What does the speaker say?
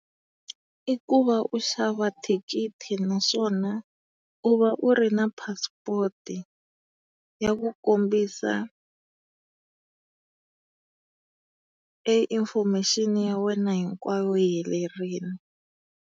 I ku va u xava thikithi naswona u va u ri na passport ya ku kombisa e information ya wena hinkwayo yi helerile.